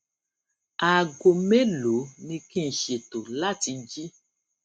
aago mélòó ni kí n ṣètò láti jí